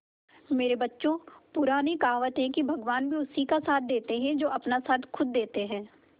मेरे बच्चों पुरानी कहावत है भगवान भी उसी का साथ देते है जो अपना साथ खुद देते है